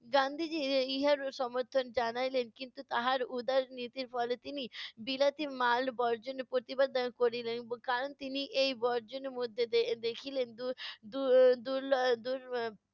গান্ধীজি ইহার সমর্থন জানাইলেন কিন্তু তাহার উদার নীতির ফলে তিনি বিলাতি মাল বর্জনের প্রতিবাদ এর করিলেন। কারণ তিনি এই বর্জনের মধ্যে দেখিলেন